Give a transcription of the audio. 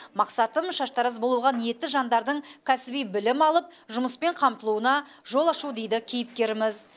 мақсатым шаштараз болуға ниетті жандардың кәсіби білім алып жұмыспен қамтылуына жол ашу дейді кейіпкеріміз